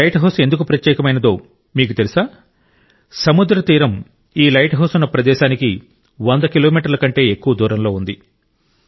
ఈ lighthouse ఎందుకు ప్రత్యేకమైనదో మీకు తెలుసా సముద్ర తీరం ఈ లైట్ హౌస్ ఉన్న ప్రదేశానికి వంద కిలోమీటర్ల కంటే ఎక్కువ దూరంలో ఉంది